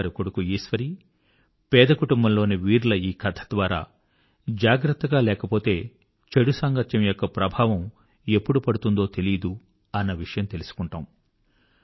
జమీందారు కొడుకు ఈశ్వరీ పేదకుటుంబంలోని వీర్ ల ఈ కథ ద్వారా జాగ్రత్తగా లేకపోతే చెడు సాంగత్యం యొక్క ప్రభావం ఎప్పుడు పడుతుందో తెలీదు అన్న విషయం తెలుసుకుంటాము